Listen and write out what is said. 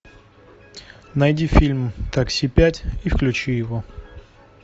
найди фильм такси пять и включи его